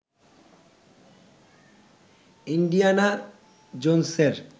Indiana জোনসের